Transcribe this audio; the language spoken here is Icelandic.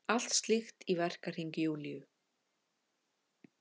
Allt slíkt í verkahring Júlíu.